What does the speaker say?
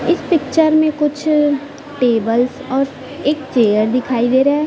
इस पिक्चर में कुछ टेबल्स और एक चेयर दिखाई दे रहा है।